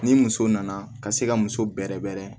Ni muso nana ka se ka muso bɛrɛ bɛɛrɛ